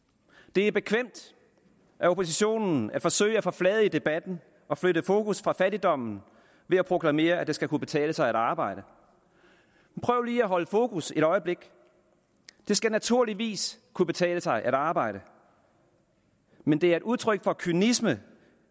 det er bekvemt af oppositionen at forsøge at forfladige debatten og flytte fokus fra fattigdommen ved at proklamere at det skal kunne betale sig at arbejde prøv lige at holde fokus et øjeblik det skal naturligvis kunne betale sig at arbejde men det er et udtryk for kynisme